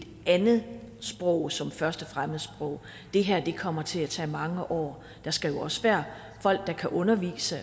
andet sprog som første fremmedsprog det her kommer til at tage mange år der skal jo også være folk der kan undervise